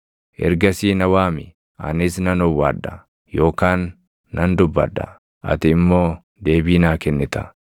Ergasii na waami; anis nan owwaadha; yookaan nan dubbadha; ati immoo deebii naa kennita.